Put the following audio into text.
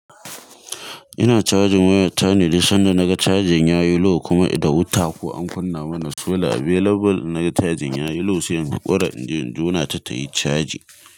Ina charging waya ta ne, dai sanda naga charging ya yi low kuma da wuta ko an kunna mana solar available. Naga charging ya yi low, sai in ƙware in je in jona ta tayi charging.